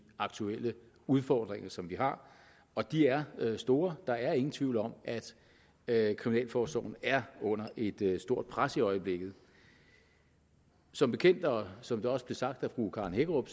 aktuelle udfordringer som vi har og de er store der er ingen tvivl om at kriminalforsorgen er under et et stort pres i øjeblikket som bekendt og som det også blev sagt af fru karen hækkerup